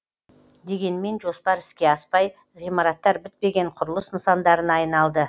дегенмен жоспар іске аспай ғимараттар бітпеген құрылыс нысандарына айналды